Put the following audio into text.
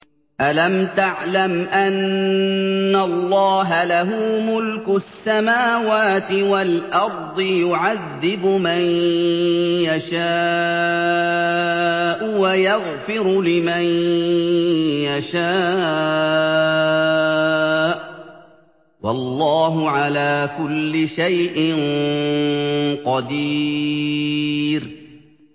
أَلَمْ تَعْلَمْ أَنَّ اللَّهَ لَهُ مُلْكُ السَّمَاوَاتِ وَالْأَرْضِ يُعَذِّبُ مَن يَشَاءُ وَيَغْفِرُ لِمَن يَشَاءُ ۗ وَاللَّهُ عَلَىٰ كُلِّ شَيْءٍ قَدِيرٌ